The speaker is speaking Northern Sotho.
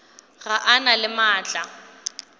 ga a na le maatla